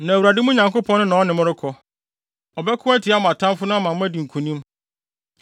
Na Awurade, mo Nyankopɔn no, na ɔne mo rekɔ. Ɔbɛko atia mo atamfo no ama moadi nkonim.”